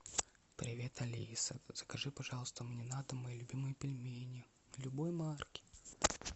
привет алиса закажи пожалуйста мне на дом мои любимые пельмени любой марки